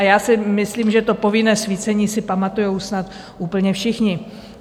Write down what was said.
A já si myslím, že to povinné svícení si pamatují snad úplně všichni.